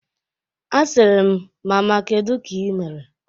Asịrị m, "Mama kedu ka i mere?"